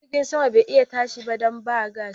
Jirgin saman bai iya tashi ba dan ba gas.